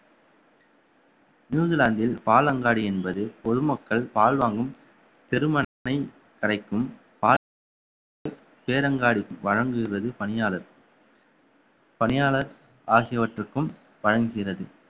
நியூசிலாந்தில் பாலங்காடி என்பது பொதுமக்கள் பால் வாங்கும் தெருமனை கடைக்கும் சேரங்காடி வழங்குகிறது பணியாளர் பணியாளர் ஆகியவற்றுக்கும் வழங்குகிறது